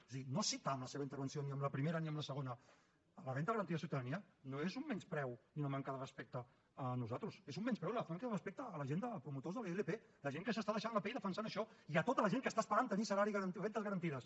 o sigui no citar en la seva intervenció ni en la primera ni en la segona la renda garantida de ciutadania no és un menyspreu ni una manca de respecte a nosaltres és un menyspreu i una falta de respecte a la gent de promotors de la ilp la gent que s’està deixant la pell defensant això i a tota la gent que està esperant tenir rendes garantides